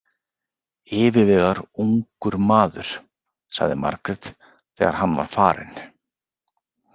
Yfirvegaður ungur maður, sagði Margrét þegar hann var farinn.